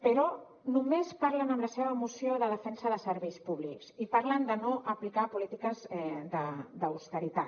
però només parlen en la seva moció de defensa de serveis públics i parlen de no aplicar polítiques d’austeritat